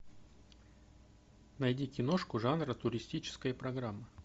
найди киношку жанра туристическая программа